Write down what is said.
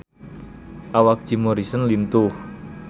Awak Jim Morrison lintuh